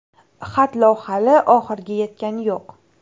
Xatlov hali oxiriga yetgani yo‘q.